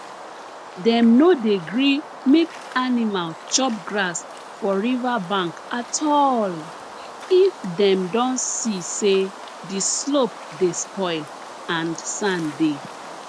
dem no dey gree make animal chop grass for river bank at all if dem don see say the slope dey spoil and sand dey